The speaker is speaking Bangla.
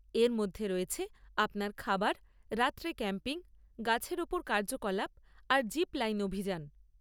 এর মধ্যে রয়েছে আপনার খাবার, রাত্রে ক্যাম্পিং, গাছের ওপর কার্যকলাপ, আর জিপ লাইন অভিযান।